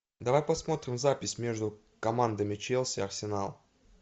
давай посмотрим запись между командами челси арсенал